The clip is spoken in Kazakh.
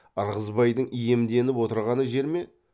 ырғызбайдың иемденіп отырғаны жер ме